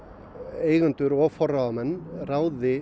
eigendur og forráðamenn ráði